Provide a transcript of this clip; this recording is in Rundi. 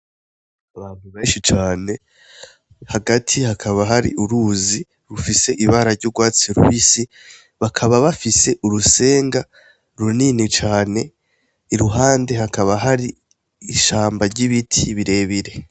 Abantubenshi cane hagati hakaba hari uruzi rufise ibara ry'urwatsi ruhisi bakaba bafise urusenga runini cane iruhande hakaba hari ishamba ry'ibiti birebire.